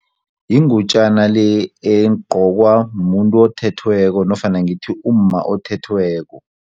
Yingutjana le egqokwa muntu othethweko nofana ngithi umma othethweko.